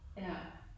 Ja